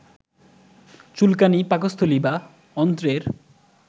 চুলকানী, পাকস্থলী বা অন্ত্রের